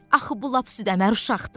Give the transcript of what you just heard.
Axı bu lap südəmər uşaqdır.